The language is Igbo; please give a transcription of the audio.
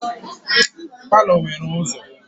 Palọ nwere ụzọ.